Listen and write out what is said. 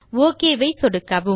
okay ஐ சொடுக்கவும்